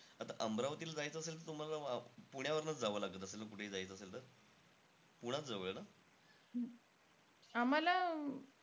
आता अमरावतीला जायचं असेल त तुम्हाला पुण्यावरनंचं जावं लागत असेल ना कुठेही जायचं असेल तर? पुणंचं जवळ आहे ना?